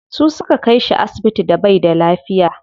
Su suka kai shi asibiti da baida lafiya.